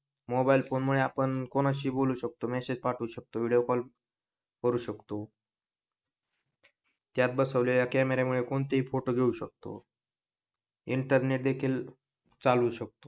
Mobile phone मुळे आपण कोणाशीही बोलू शकतो मेसेज पाठवू शकतो व्हिडिओ कॉल करू शकतो त्यात बसवलेल्या कॅमेरा मुळे कोणतेही फोटो घेऊ शकतो. इंटरनेट देखील चालवू शकतो.